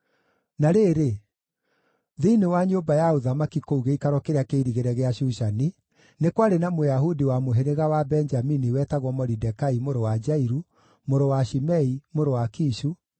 Na rĩrĩ, thĩinĩ wa nyũmba ya ũthamaki kũu gĩikaro kĩrĩa kĩirigĩre gĩa Shushani, nĩ kwarĩ na Mũyahudi wa mũhĩrĩga wa Benjamini wetagwo Moridekai mũrũ wa Jairũ, mũrũ wa Shimei, mũrũ wa Kishu,